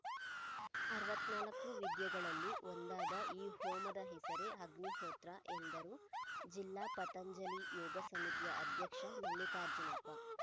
ಅರವತ್ತ್ ನಾಲ್ಕು ವಿದ್ಯೆಗಳಲ್ಲಿ ಒಂದಾದ ಈ ಹೋಮದ ಹೆಸರೇ ಅಗಿಹೋತ್ರ ಎಂದರು ಜಿಲ್ಲಾ ಪತಂಜಲಿ ಯೋಗ ಸಮಿತಿಯ ಅಧ್ಯಕ್ಷ ಮಲ್ಲಿಕಾರ್ಜುನಪ್ಪ